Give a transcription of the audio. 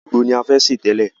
Ègbo ni a fẹ́ sè tẹ́lẹ̀.